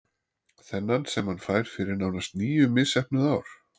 Þennan sem hann fær fyrir nánast níu misheppnuð ár?